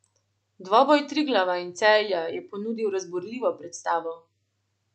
Dvoboj Triglava in Celja je ponudil razburljivo predstavo.